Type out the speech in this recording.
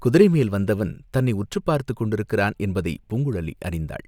குதிரைமேல் வந்தவன் தன்னை உற்றுப் பார்த்துக் கொண்டிருக்கிறான் என்பதை பூங்குழலி அறிந்தாள்.